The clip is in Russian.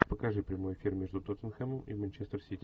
покажи прямой эфир между тоттенхэмом и манчестер сити